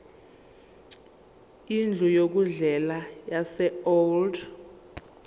indlu yokudlela yaseold